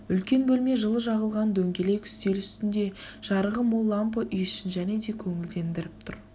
үлкен бөлме жылы жағылған дөңгелек үстел үстінде жарығы мол лампы үй ішін және де көңілдендіріп тұр